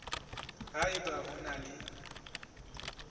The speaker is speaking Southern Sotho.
ha eba o na le